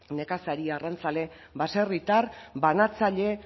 nekazari arrantzale baserritar banatzaile